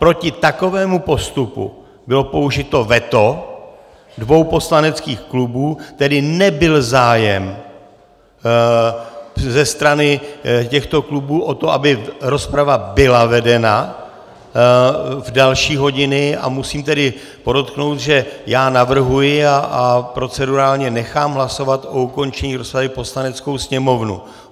Proti takovému postupu bylo použito veto dvou poslaneckých klubů, tedy nebyl zájem ze strany těchto klubů o to, aby rozprava byla vedena v další hodiny, a musím tedy podotknout, že já navrhuji a procedurálně nechám hlasovat o ukončení rozpravy Poslaneckou sněmovnu.